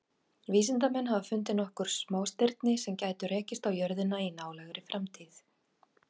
Vísindamenn hafa fundið nokkur smástirni sem gætu rekist á jörðina í nálægri framtíð.